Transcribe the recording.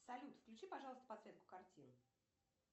салют включи пожалуйста подсветку картин